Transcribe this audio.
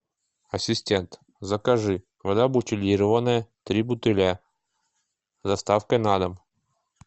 ассистент закажи вода бутилированная три бутыля с доставкой на дом